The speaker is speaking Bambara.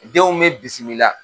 Denw bɛ bisimi la.